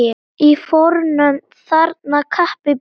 Í fornöld þarna kappi bjó.